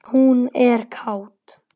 Hún er kát.